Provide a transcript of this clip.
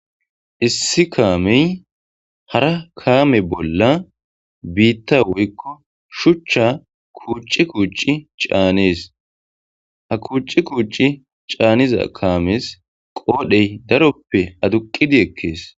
issi kaamey hara kaame bolla biitta woykko shuchcha kuuci kuuci caanees ha kuuci kuuci caaniza kaamees qoodhey daroppe aduqidi ekkees